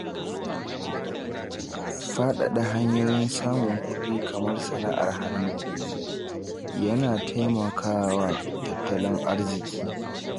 Faɗaɗa hanyoyin samun kuɗi, kamar sana’ar hannu, yana taimaka wa tattalin arziƙi.